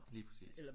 Lige præcis